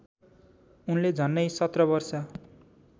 उनले झन्नै सत्रवर्ष